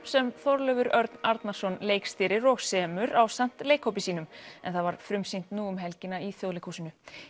sem Þorleifur Örn Arnarsson leikstýrir og semur ásamt leihópi sínum en það var frumsýnt nú um helgina í Þjóðleikhúsinu